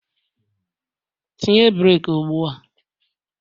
Tinye breeki ugbua!